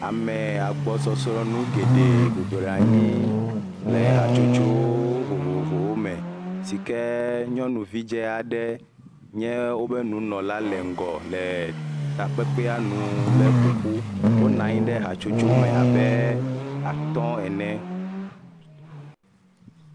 Ame agbɔsɔsɔ nu geɖe bɔbɔnɔ anyi le hatsotso vovovowo me, si ke nyɔnuvi dze aɖe nye woƒe nunɔla le ŋgɔ le ƒoƒu. Wonɔ anyi ɖe hatsotso me abe atɔ̃ ene.